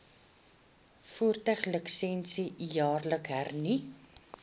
voertuiglisensie jaarliks hernu